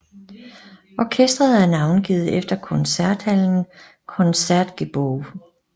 Orkestret er navngivet efter koncerthallen Concertgebouw